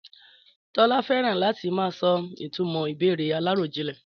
Tọ́lá fẹ́ràn láti máa sọ ìtumò ìbéèrè aláròjinlè.